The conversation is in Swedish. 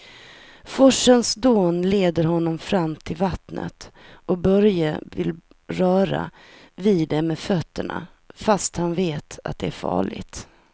Forsens dån leder honom fram till vattnet och Börje vill röra vid det med fötterna, fast han vet att det är farligt.